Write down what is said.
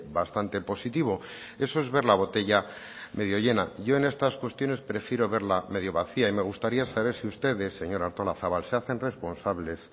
bastante positivo eso es ver la botella medio llena yo en estas cuestiones prefiero verla medio vacía y me gustaría saber si ustedes señora artolazabal se hacen responsables